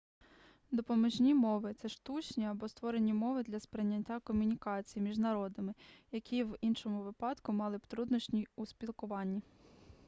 допоміжні мови це штучні або створені мови для сприяння комунікації між народами які в іншому випадку мали б труднощі у спілкуванні